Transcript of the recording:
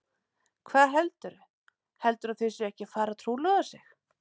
Hvað heldurðu. heldurðu að þau séu ekki að fara að trúlofa sig!